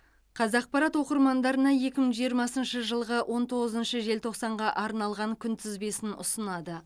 қазақпарат оқырмандарына екі мың жиырмасыншы жылғы он тоғызыншы желтоқсанға арналған күнтізбесін ұсынады